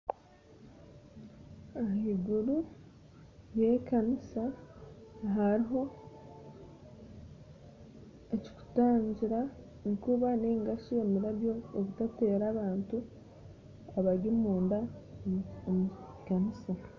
Ahaiguru y'ekanisa hariho ekiritutangira enkuba ningashi omurabyo obutateera abantu abari munda omu kanisa